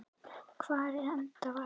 Hvar endar Valur tímabilið?